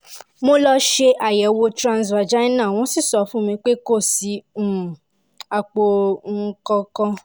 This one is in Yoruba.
mo lọ ṣe àyẹ̀wò transvaginal wọ́n sì sọ fún mi pé kò sí um àpò um kankan